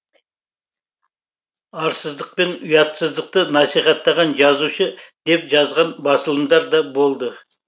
арсыздықпен ұятсыздықты насихаттаған жазушы деп жазғын басылымдар да болды